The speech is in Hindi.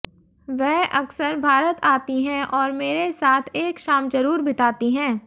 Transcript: वह अकसर भारत आती हैं और मेरे साथ एक शाम जरूर बिताती हैं